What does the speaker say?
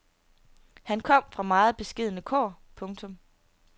Han kom fra meget beskedne kår. punktum